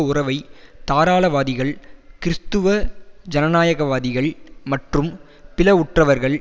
உறவை தாராளவாதிகள் கிறிஸ்துவ ஜனநாயகவாதிகள் மற்றும் பிளவுற்றவர்கள்